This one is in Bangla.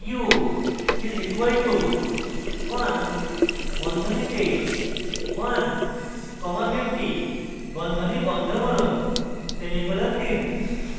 u is equal to ones বন্ধনীতে 1 comma 50 বন্ধনী বন্ধ করুন semicolon দিন